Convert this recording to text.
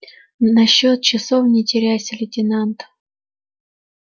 насчёт часов не теряйся лейтенант